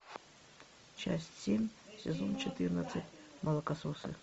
часть семь сезон четырнадцать молокососы